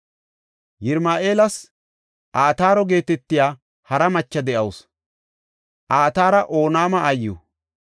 Yirahim7eelas Ataaro geetetiya hara macha de7awusu; Ataara Onaama aayiw.